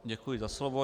Děkuji za slovo.